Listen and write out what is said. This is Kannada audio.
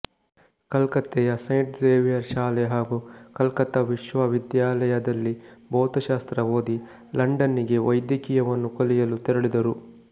ಕಲಕತ್ತೆಯ ಸೇಂಟ್ ಝೇವಿಯರ್ ಶಾಲೆ ಹಾಗೂ ಕಲ್ಕತ್ತಾ ವಿಶ್ವವಿದ್ಯಾಲಯದಲ್ಲಿ ಭೌತಶಾಸ್ತ್ರ ಓದಿ ಲಂಡನ್ನಿಗೆ ವೈದ್ಯಕೀಯವನ್ನು ಕಲಿಯಲು ತೆರಳಿದರು